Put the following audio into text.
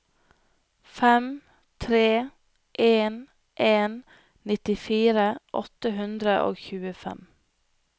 fem tre en en nittifire åtte hundre og tjuefem